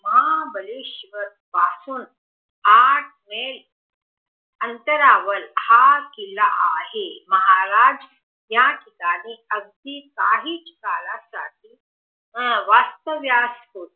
महाबळेश्वर पासून आठ मैल अंतरावर हा किल्ला आहे महाराज याठिकाणी अगदी काहीच काळासाठी वास्तव्यात होते